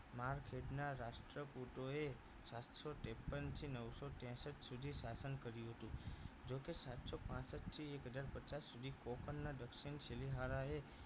મારવિર્ગ ના રાષ્ટ્રપૂતો એ સાતસો ત્રેપન થી નવસો ત્રેસઠ સુધી શાસન કર્યું હતું જોકે સાતસો પાંસઠ થી એક હજાર પચાસ સુઘી કોપણના દક્ષિણ શિલીહારાએ